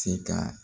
Se ka